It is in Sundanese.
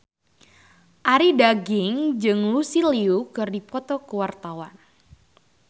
Arie Daginks jeung Lucy Liu keur dipoto ku wartawan